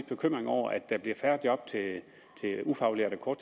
bekymring over at der bliver færre job til ufaglærte og